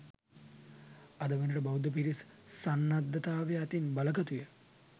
අද වනවිට බෞද්ධ පිරිස් සන්නද්ධතාවය අතින් බලගතුය